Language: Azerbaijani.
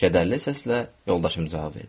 Kədərli səslə yoldaşım cavab verdi.